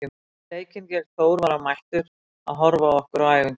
Fyrir leikinn gegn Þór var hann mættur að horfa á okkur á æfingu.